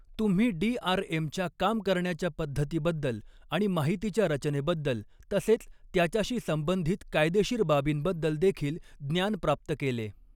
तुम्ही डीआरएमच्या काम करण्याच्या पद्धतीबद्दल आणि माहितीच्या रचनॆबद्दल तसॆच त्याच्याशी संबंधित कायदेशीर बाबींबद्दल देखील ज्ञान प्राप्त केले.